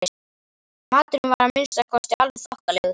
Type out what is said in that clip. Maturinn var að minnsta kosti alveg þokkalegur.